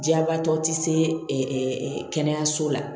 Jabaatɔ ti se kɛnɛyaso la